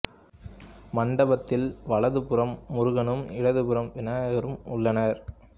மண்டபத்தில் வலது புறம் முருகனும் இடது புறம் விநாயகரும் உள்ளனர்